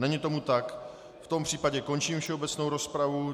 Není tomu tak, v tom případě končím všeobecnou rozpravu.